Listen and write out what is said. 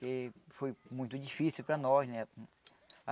Que foi muito difícil para nós, né?